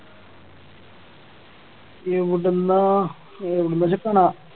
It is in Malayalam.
എവിടുന്നാ എവിടുന്നാച്ച കാണാം